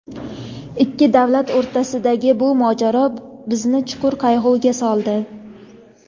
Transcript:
Ikki davlat o‘rtasidagi bu mojaro bizni chuqur qayg‘uga soldi.